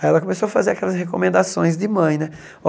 Aí ela começou a fazer aquelas recomendações de mãe, né?